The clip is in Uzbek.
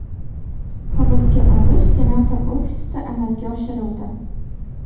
Hibsga olish senator ofisida amalga oshirildi.